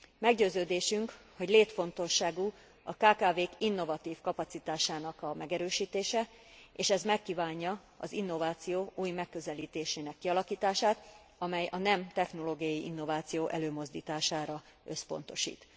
Meggyőződésünk, hogy létfontosságú a kkv k innovatív kapacitásának a megerősítése, és ez megkívánja az innováció új megközelítésének kialakítását, amely a nem technológiai innováció előmozdítására összpontosít.